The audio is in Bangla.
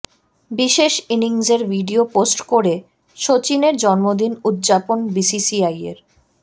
বিশেষ ইনিংসের ভিডিও পোস্ট করে সচিনের জন্মদিন উদযাপন বিসিসিআইয়ের